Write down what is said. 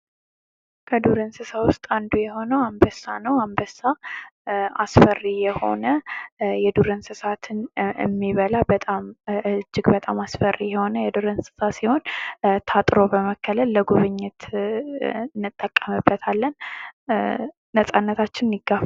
ከዱር እንስሳ ውስጥ አንዱ የሆነው አንበሳ ነው ። አንበሳ አስፈሪ የሆነ የዱር እንስሳትን የሚበላ እጅግ በጣም አስፈሪ የሆነ የዱር እንስሳ ሲሆን ታጥሮ በመከለል ለጉብኝት ይጠቀምበታለን ።ነፃነታችንን ይጋፋል ።